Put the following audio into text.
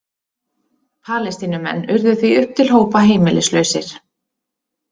Palestínumenn urðu því upp til hópa heimilislausir.